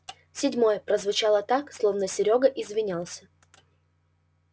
седьмой прозвучало так словно серёга извинялся